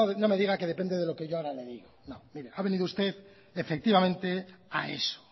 no me diga que depende de lo que yo ahí ha venido usted efectivamente a eso